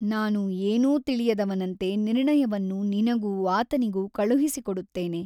ನಾನು ಏನೂ ತಿಳಿಯದವನಂತೆ ನಿರ್ಣಯವನ್ನು ನಿನಗೂ ಆತನಿಗೂ ಕಳುಹಿಸಿಕೊಡುತ್ತೇನೆ.